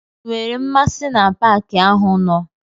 I nwere mmasị na paki ahụ nọ?